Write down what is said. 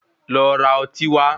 Lo ra ọtí wá.